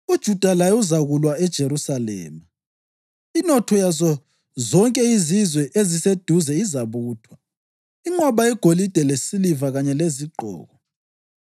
UJuda laye uzakulwa eJerusalema. Inotho yazo zonke izizwe eziseduze izabuthwa, inqwaba yegolide lesiliva kanye lezigqoko.